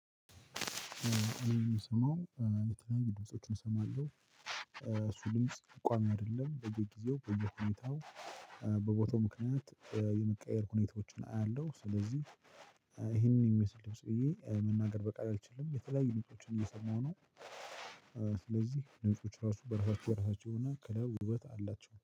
የምሰማው የተለያዩ ድምፆችን እሰማለሁ እሱ ድምጽ ቋሚ አይደለም በየጊዜው በየሁኔታው በቦታው ምክንያት የመቀየር ሁኔታዎችን አያለሁ። ስለዚህ ይሄንን የሚመስል ድምጽ ብዬ መናገር በቃል አልችልም የተለያዩ ድምጽ እየሰማሁ ነው። ስለዚህ ድምጾች ራሱ በረፋቸው በረፋቸው እና ከለር ውበት አላቸው